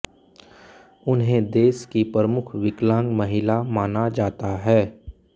उन्हें देश की प्रमुख विकलांग महिला माना जाता है